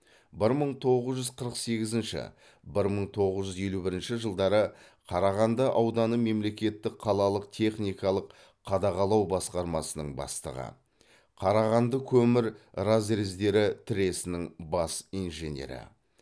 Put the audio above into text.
бір мың тоғыз жүз қырық сегізінші бір мың тоғыз жүз елу бірінші жылдары қарағанды ауданы мемлекеттік қалалық техникалық қадағалау басқармасының бастығы қарағандыкөмір разрездері тресінің бас инженері